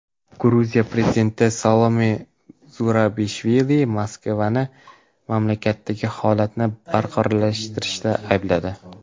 Gruziya prezidenti Salome Zurabishvili Moskvani mamlakatdagi holatni beqarorlashtirishda aybladi .